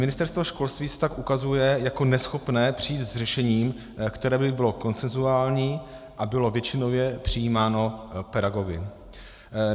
Ministerstvo školství se tak ukazuje jako neschopné přijít s řešením, které by bylo konsenzuální a bylo většinově přijímáno pedagogy.